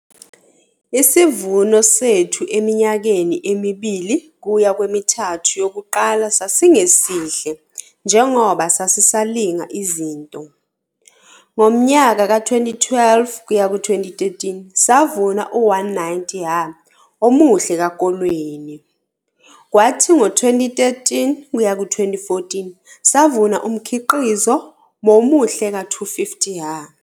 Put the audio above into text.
Isivuno sethu eminyakeni emibili kuya kwemithathu yokuqala sasingesihle njengoba sasisalinga izinto. Ngonyaka ka-2012 kuyaku 2013 savuna u-190 ha omuhle kakolweni. Kwathi ngo 2013 kuyaku 2014 savuna umkhiqizo momuhle ka-250 ha.